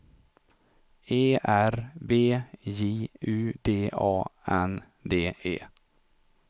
E R B J U D A N D E